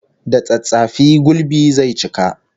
Da tsattsafi gulbi zai cika